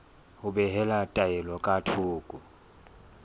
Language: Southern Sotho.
ho behela taelo ka thoko